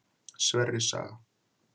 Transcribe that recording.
Sverris saga.